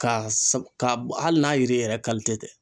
Ka ka hali n'a yiri yɛrɛ tɛ.